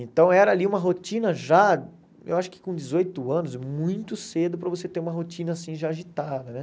Então era ali uma rotina já, eu acho que com dezoito anos, muito cedo para você ter uma rotina assim já agitada, né?